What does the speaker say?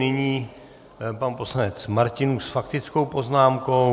Nyní pan poslanec Martinů s faktickou poznámkou.